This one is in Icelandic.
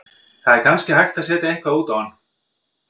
Það er kannski hægt að setja eitthvað út á hann.